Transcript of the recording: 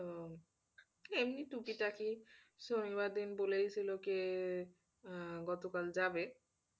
তো এমনি টুকিটাকি শনিবার দিন বলেই ছিল কে আহ গতকাল যাবে।